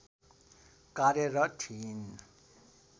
कार्यरत थिइन्